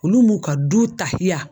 Olu m'u ka du taiya